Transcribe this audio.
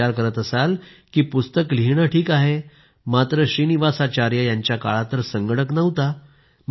तुम्ही विचार करत असाल की पुस्तक लिहिणं ठीक आहे मात्र श्रीनिवासाचार्य यांच्या काळात तर संगणक नव्हता